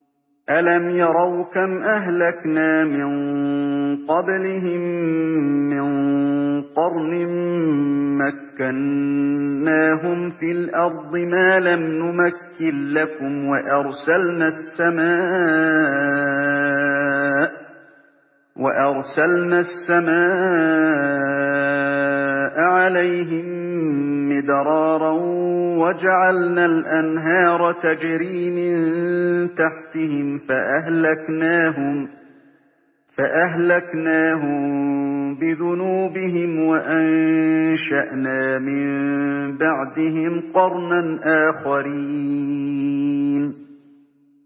أَلَمْ يَرَوْا كَمْ أَهْلَكْنَا مِن قَبْلِهِم مِّن قَرْنٍ مَّكَّنَّاهُمْ فِي الْأَرْضِ مَا لَمْ نُمَكِّن لَّكُمْ وَأَرْسَلْنَا السَّمَاءَ عَلَيْهِم مِّدْرَارًا وَجَعَلْنَا الْأَنْهَارَ تَجْرِي مِن تَحْتِهِمْ فَأَهْلَكْنَاهُم بِذُنُوبِهِمْ وَأَنشَأْنَا مِن بَعْدِهِمْ قَرْنًا آخَرِينَ